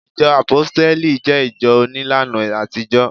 ìjọ àpóstélì je ìjọ onílàna àtijó